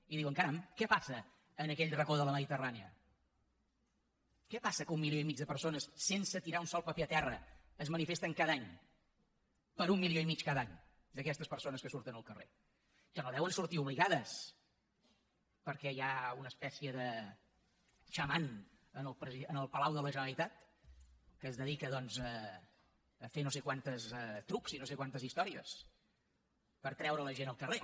i diuen caram què passa en aquell racó de la mediterrània què passa que un milió i mig de persones sense tirar un sol paper a terra es manifesten cada any per un milió i mig cada any d’aquestes persones que surten al carrer que no deuen sortir obligades perquè hi ha una espècie de xaman en el palau de la generalitat que es dedica doncs a fer no sé quants trucs i no sé quantes històries per treure la gent al carrer